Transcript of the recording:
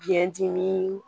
Biyɛn dimi